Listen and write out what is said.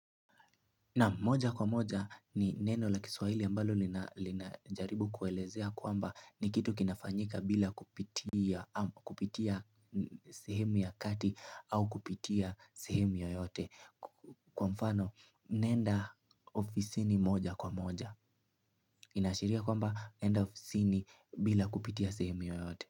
Nam moja kwa moja ni neno la Kiswahili ambalo linajaribu kuelezea kwamba ni kitu kinafanyika bila kupitia sehemu ya kati au kupitia sehemu yoyote. Kwa mfano nenda ofisini moja kwa moja. Inaashiria kwamba nenda ofisini bila kupitia sehemu yoyote.